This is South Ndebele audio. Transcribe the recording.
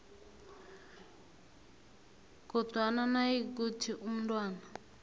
kodwana nayikuthi umntwana